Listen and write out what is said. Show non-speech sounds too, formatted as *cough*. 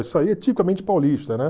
*unintelligible* aí é tipicamente paulista, né?